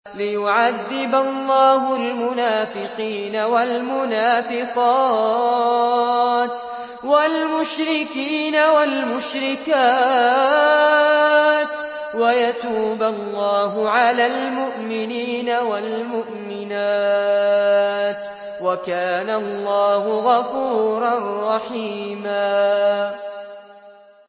لِّيُعَذِّبَ اللَّهُ الْمُنَافِقِينَ وَالْمُنَافِقَاتِ وَالْمُشْرِكِينَ وَالْمُشْرِكَاتِ وَيَتُوبَ اللَّهُ عَلَى الْمُؤْمِنِينَ وَالْمُؤْمِنَاتِ ۗ وَكَانَ اللَّهُ غَفُورًا رَّحِيمًا